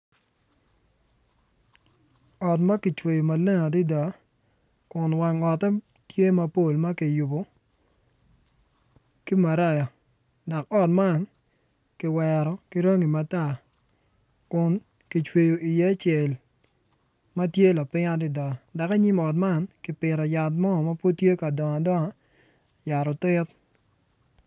Ot ma kicweyo maleng adada kun wang otte tye mapol ma kiyubo ki maraya dok ot man kiwero ki rangi matar kun kicweyo iye cel ma tye lapiny adada dok i nyim ot man kipito yat mo ma pud tye ka dongo adonga yat otit.